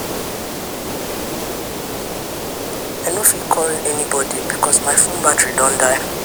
I no fit call anybodi because my fone battery don die.